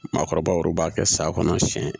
Maakɔrɔbaw b'a kɛ sa kɔnɔ siyɛn